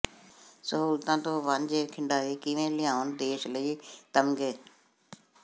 ਸਹੂਲਤਾਂ ਤੋਂ ਵਾਂਝੇ ਖਿਡਾਰੀ ਕਿਵੇਂ ਲਿਆਉਣ ਦੇਸ਼ ਲਈ ਤਮਗ਼ੇ